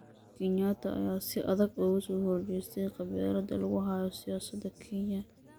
Kenyatta ayaa si adag uga soo horjeestay qabyaalada lagu hayo siyaasadda Kenya.